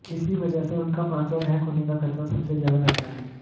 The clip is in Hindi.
इसी वजह से उनका पासवर्ड हैक होने का खतरा सबसे ज्यादा रहता है